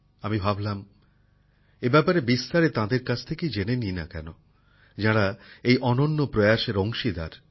আমি ভাবলাম এই ব্যাপারে বিস্তারে তাঁদের কাছ থেকেই জেনে নিই না কেন যাঁরা এই অনন্য প্রয়াসের অংশীদার